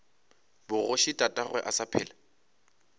bogoši tatagwe a sa phela